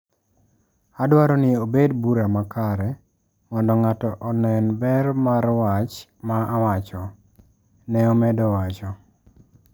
“Adwaro ni obed bura makare, mondo ng’ato onen ber mar wach ma awacho,” Ne omedo wacho.